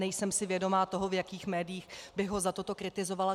Nejsem si vědoma toho, v jakých médiích bych ho za toto kritizovala.